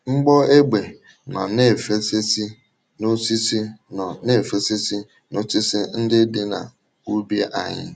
Mgbọ égbè nọ na-efefesị n’osisi nọ na-efefesị n’osisi ndị dị n’úbì anyị.